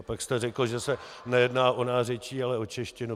A pak jste řekl, že se nejedná o nářečí, ale o češtinu.